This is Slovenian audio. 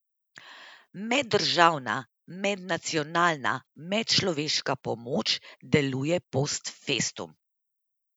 Meddržavna, mednacionalna, medčloveška pomoč deluje post festum.